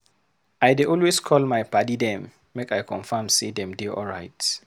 I dey always call my paddy dem make I confirm sey dem dey alright.